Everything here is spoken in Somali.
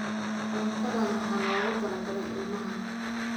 Cuntadan waxaa loogu talagalay ilmaha